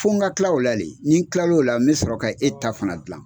Fɔ n ka kila ola de ni kila ola n be sɔrɔ ka e fɛnɛ ta gilan